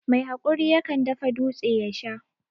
Mai hakuri yakan dafa dūtse ya Sha.